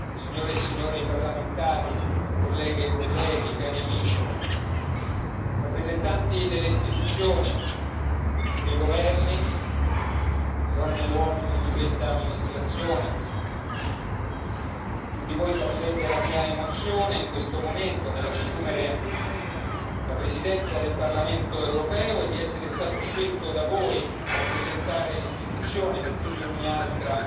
signore e signori parlamentari, onorevoli colleghe e colleghi, cari amici, rappresentanti delle istituzioni, dei Governi, donne e uomini di questa amministrazione, tutti voi capirete la mia emozione in questo momento nell'assumere la Presidenza del Parlamento europeo e di essere stato scelto da voi a rappresentare l'Istituzione che più di ogni altra